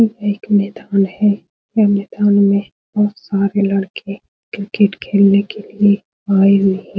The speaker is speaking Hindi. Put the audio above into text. ये एक मैदान है ये मैदान में बहोत सारे लड़के क्रिकेट खेलने के लिए आए हुए ह --